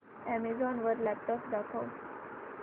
Amazon वर laptops दाखव